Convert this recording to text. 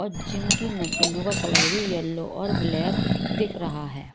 और जिम की मशीनों का कलर भी येलो और ब्लैक दिख रहा है।